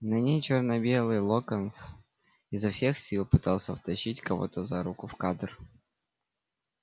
на ней чёрно-белый локонс изо всех сил пытался втащить кого-то за руку в кадр